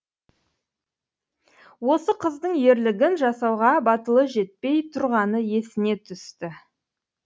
осы қыздың ерлігін жасауға батылы жетпей тұрғаны есіне түсті